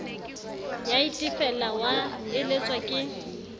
ya itefela wa eletswa ke